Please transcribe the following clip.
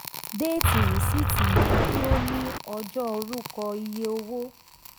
déètì risiiti yẹ kí o ní ọjọ́ orúkọ iye owó.